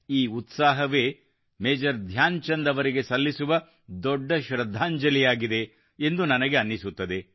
ಈ ಉತ್ಸಾಹವೇ ಮೇಜರ್ ಧ್ಯಾನ್ ಚಂದ್ ಅವರಿಗೆ ಸಲ್ಲಿಸುವ ದೊಡ್ಡ ಶೃದ್ಧಾಂಜಲಿಯಾಗಿದೆ ಎಂದು ನನಗೆ ಅನ್ನಿಸುತ್ತದೆ